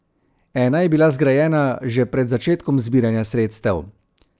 Ena je bila zgrajena že pred začetkom zbiranja sredstev.